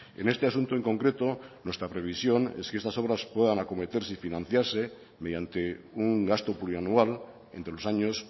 en este asunto en concreto nuestra previsión es que estas obras puedan acometerse y financiarse mediante un gasto plurianual entre los años